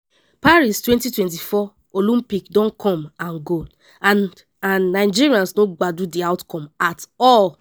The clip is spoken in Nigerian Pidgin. paris 2024 olympic don come and go and and nigerians no gbadun di outcome at all.